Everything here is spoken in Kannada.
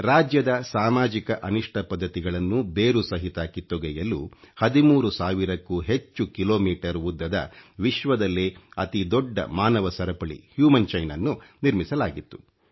ರಾಜ್ಯದ ಸಾಮಾಜಿಕ ಅನಿಷ್ಟ ಪದ್ಧತಿಗಳನ್ನು ಬೇರು ಸಹಿತ ಕಿತ್ತೊಗೆಯಲು 13 ಸಾವಿರ ಕ್ಕೂ ಹೆಚ್ಚು ಕಿಲೊ ಮೀಟರ್ ಉದ್ದದ ವಿಶ್ವದಲ್ಲೇ ಅತಿ ದೊಡ್ಡ ಮಾನವ ಸರಪಳಿ ಊumಚಿಟಿ ಅhಚಿiಟಿ ಅನ್ನು ನಿರ್ಮಿಸಲಾಗಿತ್ತು